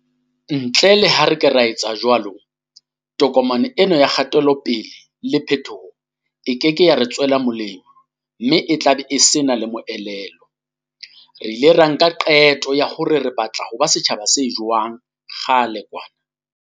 Ntle le ha re ka etsa jwalo, tokomane ena ya kgatelope-le le phetoho e keke ya re tswela molemo mme e tlabe e sena le moelelo. Re ile ra nka qeto ya hore re batla ho ba setjhaba se jwang kgale kwana.